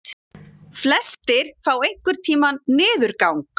Flestir fá einhvern tíma niðurgang.